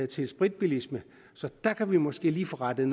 til spritbilisme så der kan vi måske lige få rettet